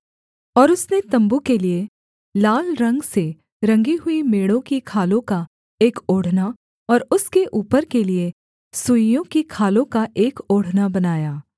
और उसने तम्बू के लिये लाल रंग से रंगी हुई मेढ़ों की खालों का एक ओढ़ना और उसके ऊपर के लिये सुइसों की खालों का एक ओढ़ना बनाया